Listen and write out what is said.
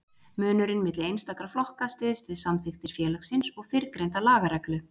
Munurinn milli einstakra flokka styðst við samþykktir félagsins og fyrrgreinda lagareglu.